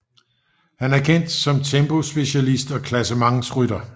Han er kendt som tempospecialist og klassementsrytter